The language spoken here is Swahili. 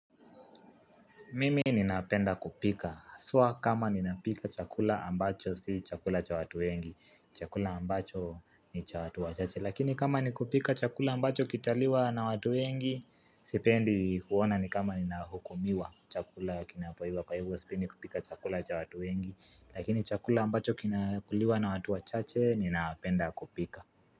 Mimi ninapenda kupika, aswa kama ninapika chakula ambacho, si chakula cha watu wengi, chakula ambacho ni cha watu wachache, lakini kama ni kupika chakula ambacho kitaliwa na watu wengi, sipendi huona ni kama ninahukumiwa chakula kinapoiva kwa hivyo sipendi, kupika chakula cha watu wengi, lakini chakula ambacho kinakuliwa na watu wachache, ninapenda kupika.